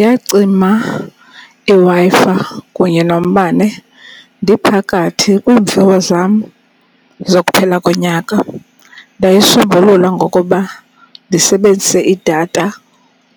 Yacima iWi-Fi kunye nombane ndiphakathi kweemviwo zam zokuphela konyaka. Ndayisombulula ngokuba ndisebenzise idatha